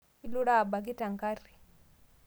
Ilura abaki tenkari